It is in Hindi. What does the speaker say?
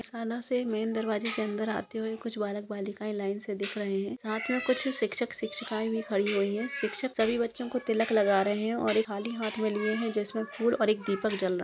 शाला से मेन दरवाजे से अंदर आते हुए कुछ जल बालिका लाइन से दिख रहे है साथ मे कुछ शिक्षक शिक्षिकाए वो खड़ी हुई है शिक्षक सभी बच्चों को तिलक लगा रहे है और एक थाली हाथ मे लिए हुए है। जिसमे फूल और दीपक जल रहा--